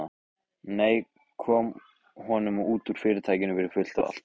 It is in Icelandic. Nei, koma honum út úr Fyrirtækinu fyrir fullt og allt.